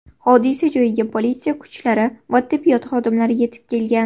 Hodisa joyiga politsiya kuchlari va tibbiyot xodimlari yetib kelgan.